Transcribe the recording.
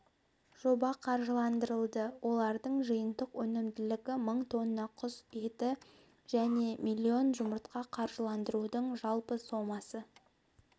жоба қаржыландырылды олардың жиынтық өнімділігі мың тонна құс еті және миллион жұмыртқа қаржыландырудың жалпы сомасы